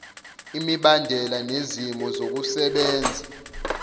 imibandela nezimo zokusebenzisa